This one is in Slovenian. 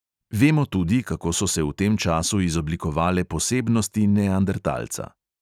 Vemo tudi, kako so se v tem času izoblikovale posebnosti neandertalca.